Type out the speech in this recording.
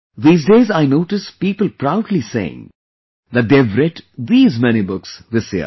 These days I notice people proudly saying that they have read these many books this year